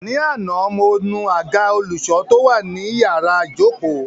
Ní àná, mo nu àga ọlọ́ṣọ̀ọ́ tó wà ní iyàrá ìjókòó!